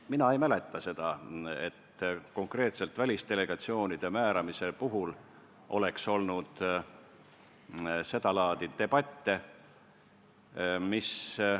Mina ei mäleta seda, et konkreetselt välisdelegatsioonide määramise puhul oleks olnud seda laadi debatte.